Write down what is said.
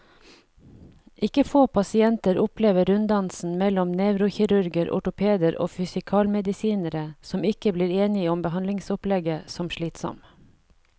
Ikke få pasienter opplever runddansen mellom nevrokirurger, ortopeder og fysikalmedisinere, som ikke blir enige om behandlingsopplegget, som slitsom.